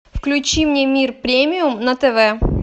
включи мне мир премиум на тв